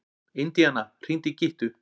Indíana, hringdu í Gyttu.